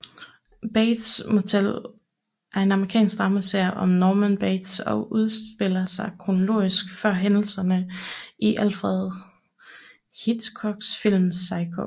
Bates Motel er en amerikansk dramaserie om Norman Bates og udspiller sig kronologisk før hændelserne i Alfred Hitchcocks film Psycho